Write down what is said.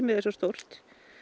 er svo stórt